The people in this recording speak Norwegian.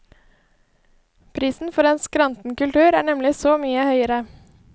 Prisen for en skranten kultur er nemlig så mye høyere.